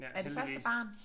Ja heldigvis